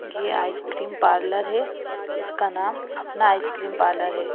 ये ice cream parlour है इसका नाम अपना आइसक्रीम पार्लर है।